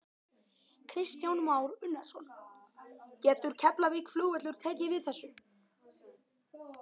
Kristján Már Unnarsson: Getur Keflavíkurflugvöllur tekið við þessu?